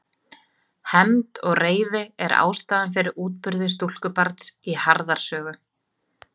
Hefnd og reiði er ástæða fyrir útburði stúlkubarns í Harðar sögu.